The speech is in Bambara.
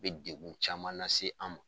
Bɛ degun caman lase an ma.